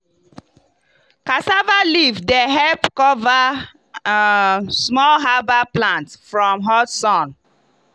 cassava leaf dey help cover um small herbal plant from hot sun.